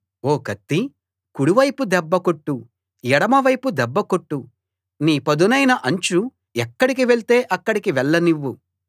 ఓ కత్తీ కుడివైపు దెబ్బ కొట్టు ఎడమవైపు దెబ్బ కొట్టు నీ పదునైన అంచు ఎక్కడికి వెళ్తే అక్కడికి వెళ్లనివ్వు